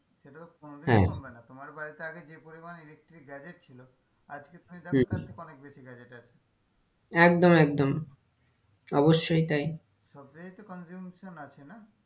কোনোদিন কমবে না হ্যাঁ তোমার বাড়িতে আগে যে পরিমানে electric gadget ছিল আজকে হম অনেক বেশি gadget আছে একদম একদম অবশ্যই তাই সবটাই হচ্ছে conjugation আছে না,